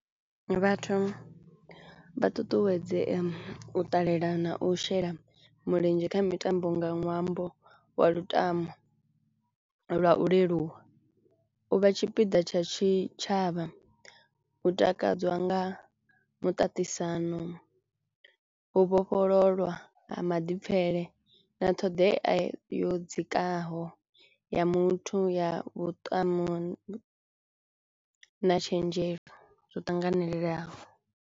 Vhathu vha ṱuṱuwedzea u ṱalela na u shela mulenzhe kha mitambo nga ṅwambo wa lutamo lwa u leluwa. U vha tshipiḓa tsha tshitshavha hu takadzwa nga muṱaṱisano, u vhofhololwa ha maḓipfele na ṱhoḓea yo dzikaho ya muthu ya na tshenzhemo zwo tanganelelaho.